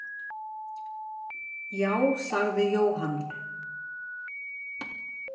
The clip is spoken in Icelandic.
Já, sagði Jóhann.